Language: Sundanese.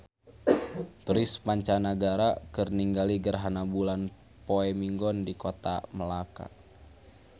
Turis mancanagara keur ningali gerhana bulan poe Minggon di Kota Melaka